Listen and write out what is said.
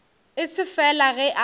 e se fela ge a